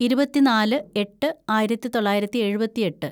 ഇരുപത്തിനാല് എട്ട് ആയിരത്തിതൊള്ളായിരത്തി എഴുപത്തിയെട്ട്‌